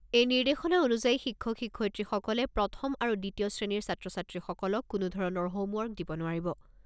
এই নিৰ্দেশনা অনুযায়ী শিক্ষক শিক্ষয়িত্ৰীসকলে প্ৰথম আৰু দ্বিতীয় শ্ৰেণীৰ ছাত্ৰ ছাত্ৰীসকলক কোনো ধৰণৰ হোম ৱৰ্ক দিব নোৱাৰিব।